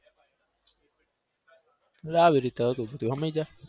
એટલે આવી રીતે હતું બધું હમજ્યાં?